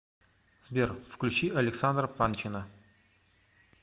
сбер включи александра панчина